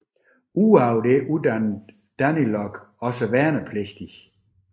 Ud over dette uddannede DANILOG også værnepligtige